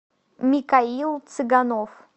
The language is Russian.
микаил цыганов